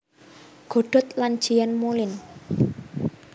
Godot lan Jean Moulind